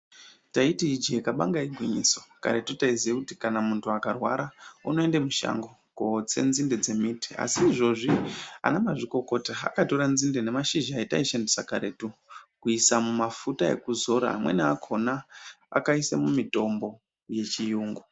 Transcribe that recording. Taiti ije kabanga igwinyiso ,karetu taiziya kuti kana muntu akarwara unoende mushango kotse nzinde ndembiti asi izvozvi anamazvikokota akatora nzinde nemashizha ataishandisa karetu kuisa mumafuta ekuzora amweni akona akaise mumitombo yechiyungu.